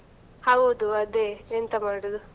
ಹೌದು ಅದೇ, ಎಂತ ಮಾಡುದು?